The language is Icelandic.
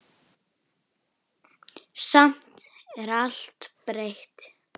Samt er allt breytt.